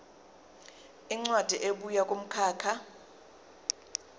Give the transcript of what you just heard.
incwadi ebuya kumkhakha